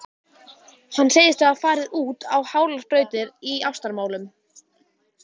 Hann segist hafa farið út á hálar brautir í ástamálum.